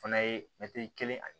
Fana ye mɛtiri kelen ani